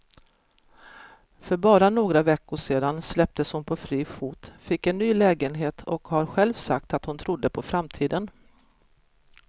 För bara några veckor sedan släpptes hon på fri fot, fick en ny lägenhet och har själv sagt att hon trodde på framtiden.